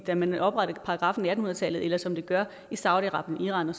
da man oprettede paragraffen i atten hundrede tallet eller som det gør i saudi arabien iran